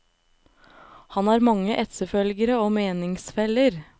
Han har mange etterfølgere og meningsfeller.